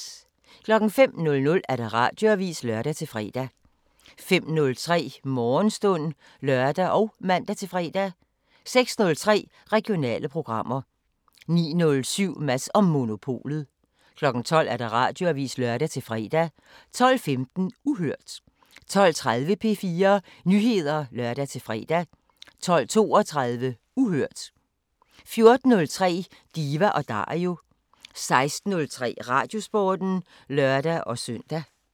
05:00: Radioavisen (lør-fre) 05:03: Morgenstund (lør og man-fre) 06:03: Regionale programmer 09:07: Mads & Monopolet 12:00: Radioavisen (lør-fre) 12:15: Uhørt 12:30: P4 Nyheder (lør-fre) 12:32: Uhørt 14:03: Diva & Dario 16:03: Radiosporten (lør-søn)